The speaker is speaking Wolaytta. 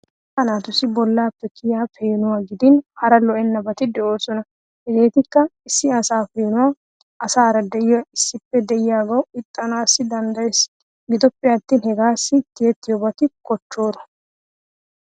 Asay naatusi bollappe kiyiya peenuwa giidin hara lo'ennabati de'oosona. Hegetikka issi asa peenuwa, asaara de'iyo issippe de'iyooga ixxissana danddayees giddoppe attin hegaas tiyyetiyoobati koochoro.